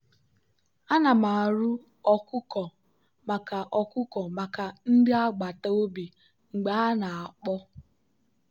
ana m arụ ụlọ ọkụkọ maka ọkụkọ maka ndị agbata obi mgbe ha na-akpọ.